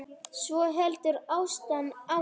Svo heldur Ásta áfram